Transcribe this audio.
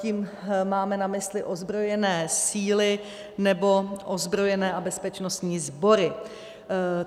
Tím máme na mysli ozbrojené síly nebo ozbrojené a bezpečnostní sbory.